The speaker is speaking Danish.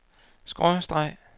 skråstreg